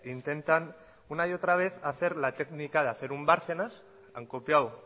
intentan una y otra vez hacer la técnica de hacer un bárcenas han copiado